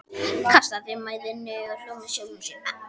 Kastaði mæðinni og hló með sjálfum sér.